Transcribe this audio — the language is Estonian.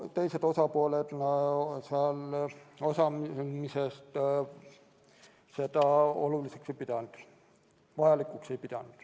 Teised osapooled istungil osalemist vajalikuks ei pidanud.